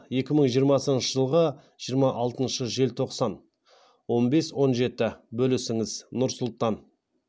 екі мың жиырмасыншы жылғы жиырма алтыншы желтоқсан он бес он жеті бөлісіңіз нұр сұлтан